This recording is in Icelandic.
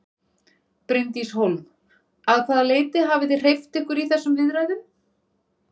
Bryndís Hólm: Að hvaða leyti hafið þið hreyft ykkur í þessum viðræðum?